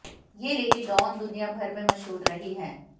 ये lady don दुनिया भर में मशहूर रही है